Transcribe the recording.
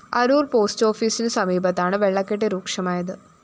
Aroor‍ post ഓഫിസിനു സമീപത്താണ് വെള്ളക്കെട്ട് രൂക്ഷമായത്